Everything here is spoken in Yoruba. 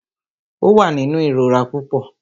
Ó wà nínú ìrora púpọ.